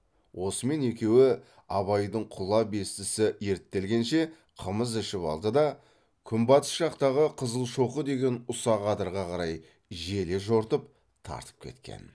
осымен екеуі абайдың құла бестісі ерттелгенше қымыз ішіп алды да күнбатыс жақтағы қызылшоқы деген ұсақ адырға қарай желе жортып тартып кеткен